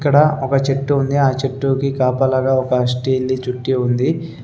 ఇక్కడ ఒక చెట్టు ఉంది ఆ చెట్టుకి కాపలాగా ఒక స్టీల్ ది చుట్టి ఉంది.